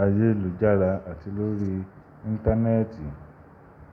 ayélujára àti lórí Íńtánẹ́ẹ̀tì.